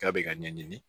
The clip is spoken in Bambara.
K'a bɛ ka ɲɛɲini